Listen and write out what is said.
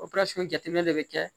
jateminɛ de bɛ kɛ